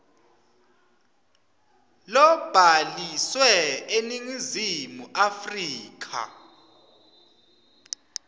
lobhaliswe eningizimu afrika